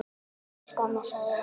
Elsku amma, sofðu rótt.